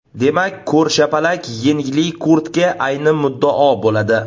Demak ko‘rshapalak yengli kurtka ayni muddao bo‘ladi.